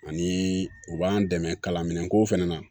Ani u b'an dɛmɛ kalan minɛnko fana na